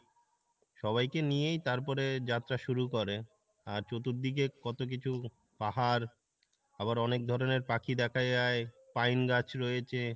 সবাইকে নিয়েই তারপরে যাত্রা শুরু করে আর চতুর্দিকে কত কিছু পাহাড় আবার অনেক ধরনের পাখি দেখা যাই, পাইন গাছ রয়েছে